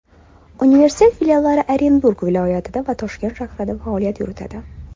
Universitet filiallari Orenburg viloyatida va Toshkent shahrida faoliyat yuritadi.